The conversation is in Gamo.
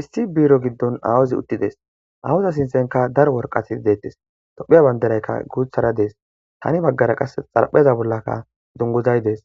issi biiro giddon awuzi uttides awuza sintenka daro worqati deettes tophiya banderaykka guuthara dees tani baggara qas xarpheza bollaka dunguzay dees